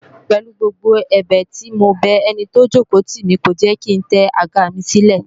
Pèlu gbogbo ẹ̀bẹ̀ tí mo bẹ ẹni tó jòkó tì mí, kò jẹ́ kí ń tẹ àga mi sílẹ̀